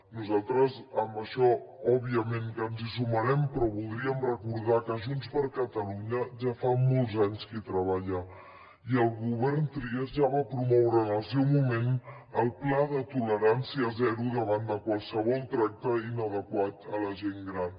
nosaltres en això òbviament que ens hi sumarem però voldríem recordar que junts per catalunya ja fa molts anys que hi treballa i el govern trias ja va promoure en el seu moment el pla de tolerància zero davant de qualsevol tracte inadequat a la gent gran